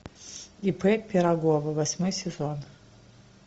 ип пирогова восьмой сезон